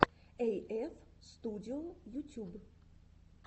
эйэф студио ютюб